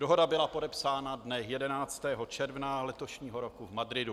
Dohoda byla podepsána dne 11. června letošního roku v Madridu.